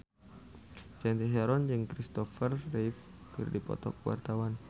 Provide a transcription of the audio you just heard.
Cathy Sharon jeung Christopher Reeve keur dipoto ku wartawan